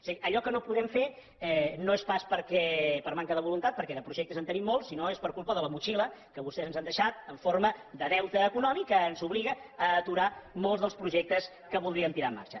és a dir allò que no podem fer no és pas per manca de voluntat perquè de projectes en tenim molts sinó que és per culpa de la motxilla que vostès ens han deixat en forma de deute econòmic que ens obliga a aturar molts dels projectes que voldríem posar en marxa